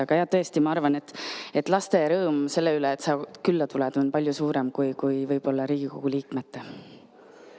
Aga tõesti, ma arvan, et laste rõõm selle üle, et sa külla tuled, on võib-olla palju suurem kui Riigikogu liikmete rõõm.